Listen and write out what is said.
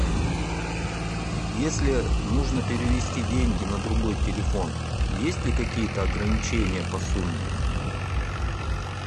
если нужно перевести деньги на другой телефон есть ли какие то ограничения по сумме